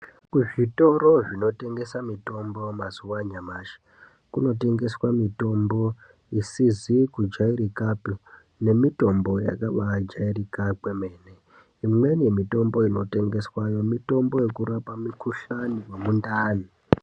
Kuzvitoro zvinotengese mitombo mazuva anyamashi, kunotengeswe mitombo isizi kujairika nemitombo yakabajairika kwemene, imweni mitombo inotengeswayo mitombo inorapa mikuhlani nemundani.